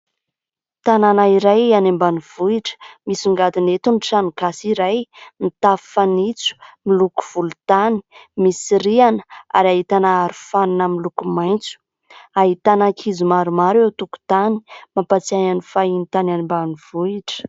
Tanàna iray any ambanivohitra. Misongadina eto ny tranogasy iray, ny tafo fanitso ny loko volontany, misy rihana ary ahitana arofanina miloko maitso, ahitana ankizy maromaro eo an-tokotany mampahatsiahy ny fahiny tany any ambanivohitra.